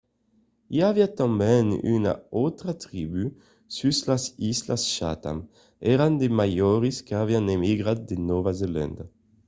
i aviá tanben una autra tribú sus las islas chatham èran de maòris qu'avián emigrat de nòva zelanda